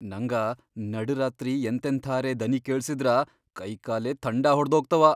ನಂಗ ನಡ್ ರಾತ್ರಿ ಎಂಥೆಂಥಾರೆ ದನಿ ಕೇಳ್ಸಿದ್ರ ಕೈಕಾಲೇ ಥಂಡಾ ಹೊಡ್ದೋಗ್ತಾವ.